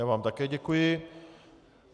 Já vám také děkuji.